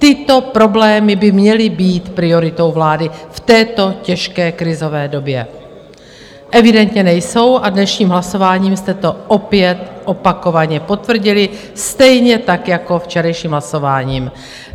Tyto problémy by měly být prioritou vlády v této těžké krizové době, evidentně nejsou a dnešním hlasováním jste to opět opakovaně potvrdili, stejně tak jako včerejším hlasováním.